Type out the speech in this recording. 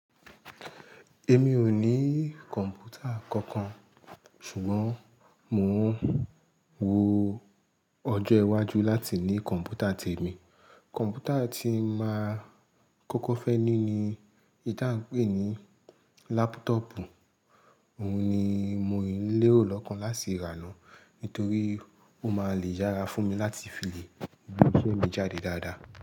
Èmi ò ní kọ̀m̀pútà kankan ṣùgbọ́n mò ń wo, ọjọ́ iwájú láti ní kọ̀m̀pútà témi. Kọ̀m̀pútà tí máa kọ́kọ́ fẹ́ ní ni èyí tí a ń pè ní láptọ̀ọ̀pù. Òun ni mò yiń lérò lọ́kàn láti ra náà, nítorí ó máa le yára fún mi láti fi lé gbé isẹ̀ mi jáde dáadáa.